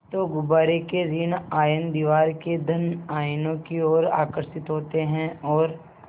तो गुब्बारे के ॠण आयन दीवार के धन आयनों की ओर आकर्षित होते हैं और